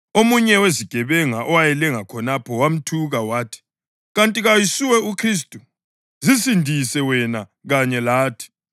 Omunye wezigebenga owayelenga khonapho wamthuka wathi, “Kanti kayisuwe uKhristu? Zisindise wena kanye lathi!”